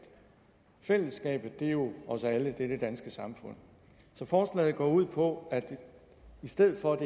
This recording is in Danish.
fællesskabet er jo os alle det danske samfund så forslaget går ud på at i stedet for